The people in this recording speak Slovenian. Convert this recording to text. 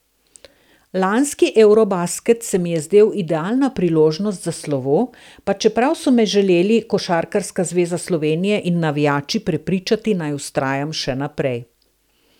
Lanski eurobasket se mi je zdel idealna priložnost za slovo, pa čeprav so me želeli Košarkarska zveza Slovenije in navijači prepričati, naj vztrajam še naprej.